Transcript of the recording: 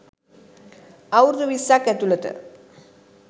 අවුරුදු විස්සක් ඇතුළත